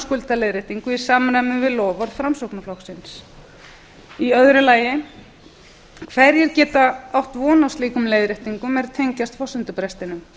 skuldaleiðréttingu í samræmi við loforð framsóknarflokksins annars hverjir geta átt von á slíkum leiðréttingum er tengjast forsendubrestinum